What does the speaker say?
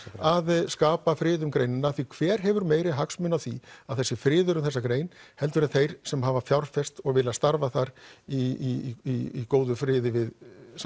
að skapa frið um greinina því hver hefur meiri hagsmuni af því að það sé friður um þessa grein heldur en þeir sem hafa fjárfest og vilja starfa þar í góðum friði við